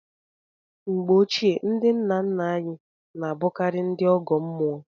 Mgbe ochie, ndị nna nna anyị na-abụkarị ndị ọgọ mmụọ.